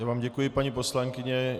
Já vám děkuji, paní poslankyně.